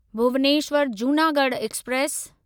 Bhubaneswar Junagadh express